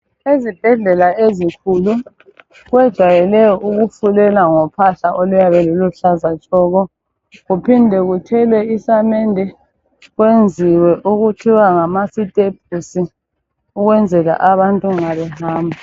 Ezibhendlela ezikhulu kwejayele ukufulela ngophahla okuyabe luluhlaza tshoko kuphindwe kuthelwe isamende kwenziwe okuthiwa ngamasitepusi ukwenzela abantu nxa behamba